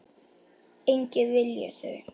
Enginn vilji þau.